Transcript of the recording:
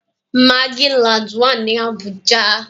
Magic land wá ní Abuja